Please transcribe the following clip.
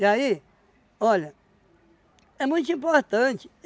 E aí, olha, é muito importante.